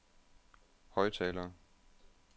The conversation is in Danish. højttaler